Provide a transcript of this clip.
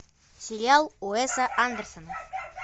сериал уэса андерсона